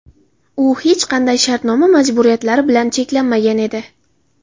U hech qanday shartnoma majburiyatlari bilan cheklanmagan edi.